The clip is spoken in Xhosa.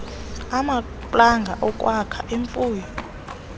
amaplanga okwakha imfuyo